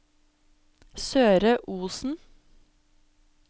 Søre Osen